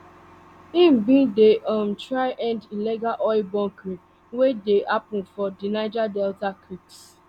im bin dey um try end illegal oil bunkering wey dey happun for di niger delta creeks